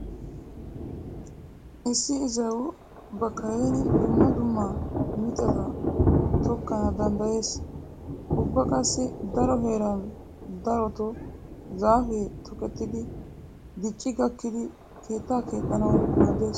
Issi izaawu ba kareeni dumma dumma mittata tokkana danddayees. Ubba qassi daro heeran darotoo zaafee tokettidi dicci gakkidi keettaa keexxanawu maaddees.